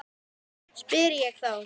spyr ég þá.